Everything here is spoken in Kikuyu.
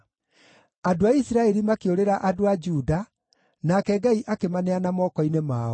Andũ a Isiraeli makĩũrĩra andũ a Juda, nake Ngai akĩmaneana moko-inĩ mao.